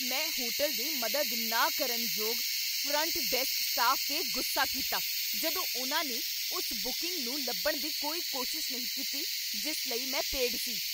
ਮੈਂ ਹੋਟਲ ਦੇ ਮਦਦ ਨਾ ਕਰਕਨ ਯੋਗ ਫਰੰਟ ਡੈਸਕ ਸਟਾਫ 'ਤੇ ਗੁੱਸਾ ਕੀਤਾ ਜਦੋਂ ਉਨ੍ਹਾਂ ਨੇ ਉਸ ਬੁਕਿੰਗ ਨੂੰ ਲੱਭਣ ਦੀ ਕੋਈ ਕੋਸ਼ਿਸ਼ ਨਹੀਂ ਕੀਤੀ ਜਿਸ ਲਈ ਮੈਂ ਪੇਡ ਸੀ।